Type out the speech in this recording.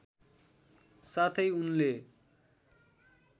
साथै उनले